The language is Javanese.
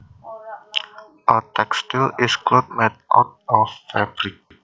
A textile is cloth made out of fabric